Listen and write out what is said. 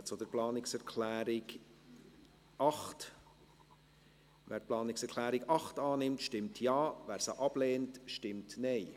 Wer die Planungserklärung 8 der SiK annehmen will, stimmt Ja, wer diese ablehnt, stimmt Nein.